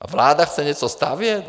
A vláda chce něco stavět?